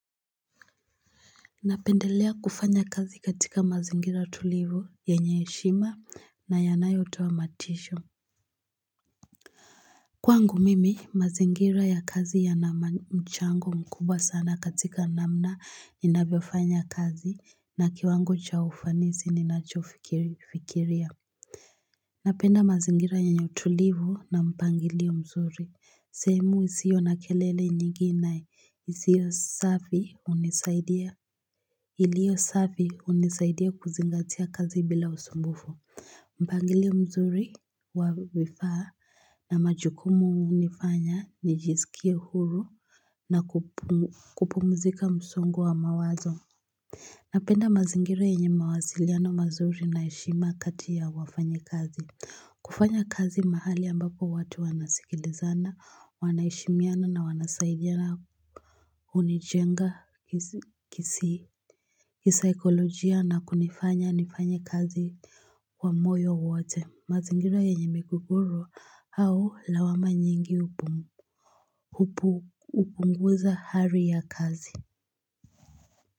Napendelea kufanya kazi katika mazingira tulivu yenye heshima na yanayotoa matisho. Kwangu mimi mazingira ya kazi ya na mchango mkubwa sana katika namna ninavyofanya kazi na kiwango cha ufanisi ninachofikiria. Napenda mazingira yenye utulivu na mpangilio mzuri. Seeemu isio na kelele nyingi nae. Isio safi hunisaidia. Iliyo safi hunisaidia kuzingatia kazi bila usumbufu. Mpangilio mzuri wa vifaa na majukumu hunifanya nijisikie huru na kupumzika msongo wa mawazo. Napenda mazingira yenye mawasiliano mazuri na heshima kati ya wafanyi kazi. Kufanya kazi mahali ambako watu wanasikilizana, wanaheshimiana na wanasaidiana hunijenga kisaikolojia. Na kunifanya nifanye kazi kwa moyo wote mazingira yenye migogoro au lawama nyingi hupunguza hali ya kazi.